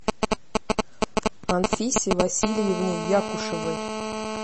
анфисе васильевне якушевой